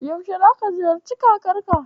Yaushe zaka ziyarci kakarka?